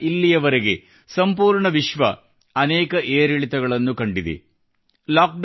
ಅಂದಿನಿಂದ ಇಲ್ಲಿವರೆಗೆ ಸಂಪೂರ್ಣ ವಿಶ್ವ ಻ಅನೇಕ ಏರಿಳಿತಗಳನ್ನು ಕಂಡಿದೆ